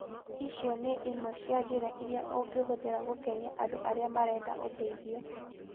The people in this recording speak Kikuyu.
Icio nĩ imwe cia njĩra iria ũngĩhũthĩra gũkenia andũ arĩa marenda ũteithio.